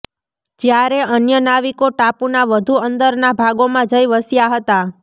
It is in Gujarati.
જ્યારે અન્ય નાવિકો ટાપુના વધુ અંદરના ભાગોમાં જઈ વસ્યા હતા